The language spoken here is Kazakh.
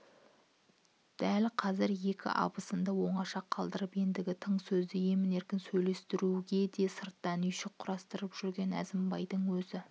дәл қазір екі абысынды оңаша қалдыртып ендігі тың сөзді емін-еркін сөйлеттіруге де сырттан үйшік құрып жүрген әзімбайдың өзі